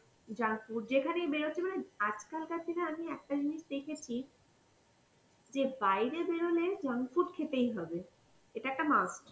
junk food, যেখানেই বেরচ্ছি মানে আজকালকার দিনে আমি একটা জিনিস দেখেছি যে বাইরে বেরোলে junk food খেতেই হবে, এটা একটা must.